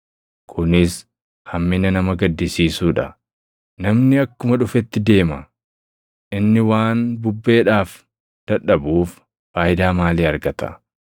Kunis hammina nama gaddisiisuu dha: Namni akkuma dhufetti deema; inni waan bubbeedhaaf dadhabuuf faayidaa maalii argata?